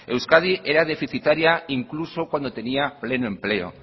euskadi era deficitaria incluso cuando tenía pleno empleo